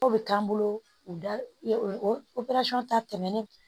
O bɛ k'an bolo u da o ta tɛmɛnen